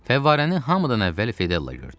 Fəvvarəni hamıdan əvvəl Fedella gördü.